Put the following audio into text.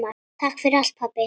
Takk fyrir allt pabbi.